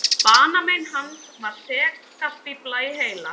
Banamein hans var segastífla í heila.